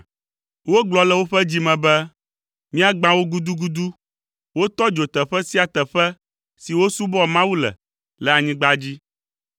Wogblɔ le woƒe dzi me be, “Míagbã wo gudugudu!” Wotɔ dzo teƒe sia teƒe si wosubɔa Mawu le, le anyigba dzi.